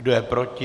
Kdo je proti?